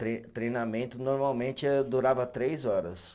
Tre, treinamento normalmente eh durava três horas.